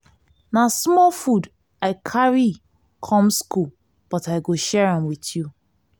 na small food i carry come skool but i go share am wit you.